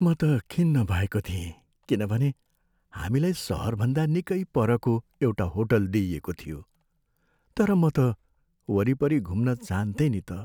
म त खिन्न भएको थिएँ किनभने हामीलाई सहरभन्दा निकै परको एउटा होटल दिइएको थियो तर म त वरिपरि घुम्न चाहान्थेँ नि त।